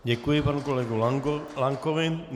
Děkuji panu kolegovi Lankovi.